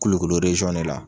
Kulukoro de la.